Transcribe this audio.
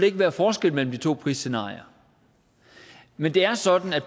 ikke være forskel mellem de to prisscenarier men det er sådan at